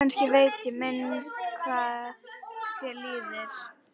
Kannski veit ég minnst hvað þér líður.